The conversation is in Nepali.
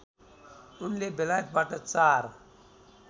उनले बेलायतबाट चार